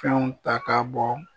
Kanw ta ka bɔ